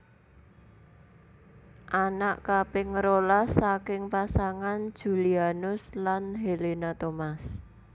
Anak kaping rolas saking pasangan Julianus lan Helena Thomas